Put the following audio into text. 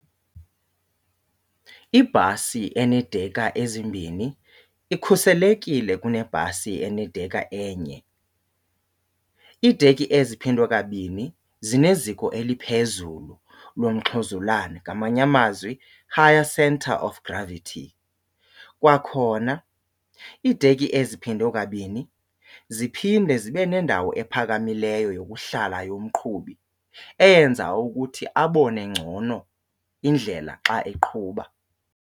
Ibhasi eneedekha ezimbini ikhuselekile kunebhasi enedekha enye. Iidekhi eziphindwe kabini zineziko eliphezulu lomxhozulane, ngamanye amazwi higher centre of gravity. Kwakhona iidekhi eziphindwe kabini ziphinde zibe nendawo ephakamileyo yokuhlala yomqhubi eyenza ukuthi abone ngcono indlela xa eqhuba.